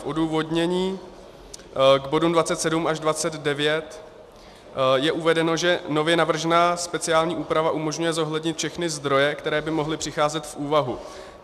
V odůvodnění k bodům 27 až 29 je uvedeno, že nově navržená speciální úprava umožňuje zohlednit všechny zdroje, které by mohly přicházet v úvahu.